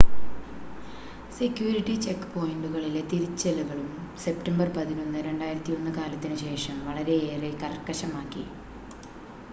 security check പോയിന്റുകളിലെ തിരച്ചിലുകളും, September 11 2001 കാലത്തിനു ശേഷം വളരെയേറെ കർക്കശമാക്കി